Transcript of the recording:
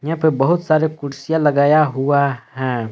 यहां पे बहुत सारे कुर्सियां लगाया हुआ हैं।